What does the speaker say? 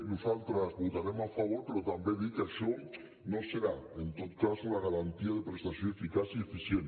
nosaltres hi votarem a favor però també dir que això no serà en tot cas una garantia de prestació eficaç i eficient